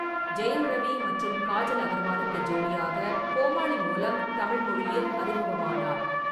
ஜெயம் ரவி மற்றும் காஜல் அகர்வாலுக்கு ஜோடியாக கோமாளி மூலம் தமிழ் மொழியில் அறிமுகமானார்.